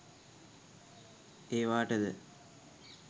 ඒවාට ද